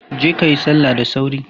Je kayi salla da sauri!